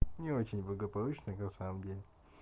не очень благополучно на самом деле